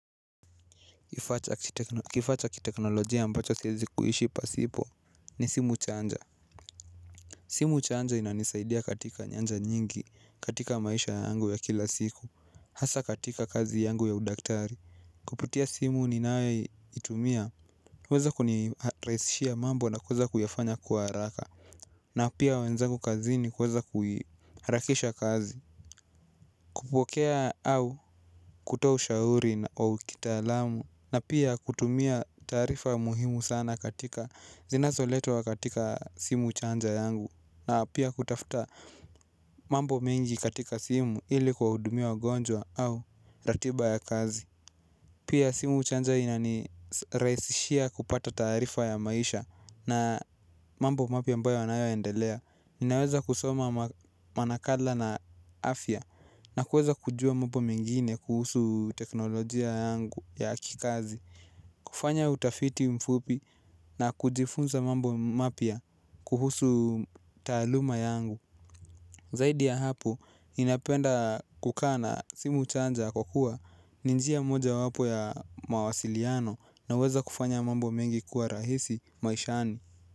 Kifaacha kiteknolojia ambacho siwezi kuishi pasipo ni simu chaanja. Simu chaanja inanisaidia katika nyanja nyingi katika maisha yangu ya kila siku hasa katika kazi yangu ya udaktari. Kupitia simu ninayo itumia huweza kunirahisishia mambo na kuweza kuyafanya kwa haraka. Na pia wenzangu kazi ni kuweza kuiharakisha kazi. Kupokea au kutoa ushauri na au kitaalamu. Na pia kutumia taarifa muhimu sana katika zinazo letwa katika simu chanja yangu. Na pia kutafta mambo mengi katika simu ili kuwa hudumia wagonjwa au ratiba ya kazi. Pia simu chanja inani rahisishia kupata taarifa ya maisha na mambo mapya ambayo yanayo endelea. Ninaweza kusoma manakala na afya na kuweza kujua mambo mengine kuhusu teknolojia yangu ya kikazi. Kufanya utafiti mfupi na kujifunza mambo mapya kuhusu taaluma yangu. Zaidi ya hapo ninapenda kukaa na simu chanja kwa kuwa ninjia moja wapo ya mawasiliano na huweza kufanya mambo mengi kuwa rahisi maishani.